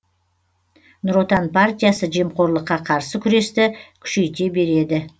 нұр отан партиясы жемқорлыққа қарсы күресті күшейте береді